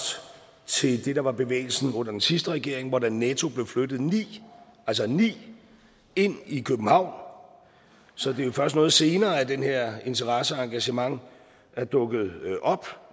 til det der var bevægelsen under den sidste regering hvor der netto blev flyttet ni altså ni ind i københavn så det er jo først noget senere at den her interesse og det engagement er dukket op